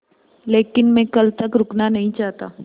लेकिन मैं कल तक रुकना नहीं चाहता